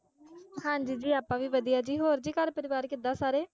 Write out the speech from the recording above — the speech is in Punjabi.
ਹਾਂ ਜੀ ਆਪਾਂ ਵੀ ਵਧੀਆ ਜੀ, ਹੋਰ ਜੀ ਘਰ ਪਰਿਵਾਰ ਕਿਦਾਂ ਸਾਰੇ,